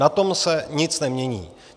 Na tom se nic nemění.